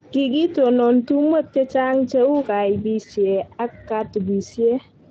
kikitonon tumwek che cheng' cheu kaibisie ak katubisie